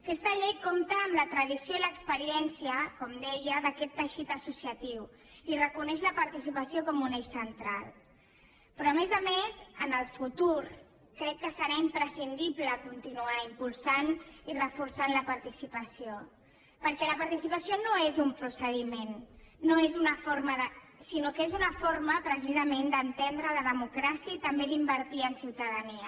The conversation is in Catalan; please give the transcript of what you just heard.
aquesta llei compta amb la tradició i l’experiència com deia d’aquest teixit associatiu i reconeix la participació com un eix central però a més a més en el futur crec que serà imprescindible continuar impulsant i reforçant la participació perquè la participació no és un procediment sinó que és una forma precisament d’entendre la democràcia i també d’invertir en ciutadania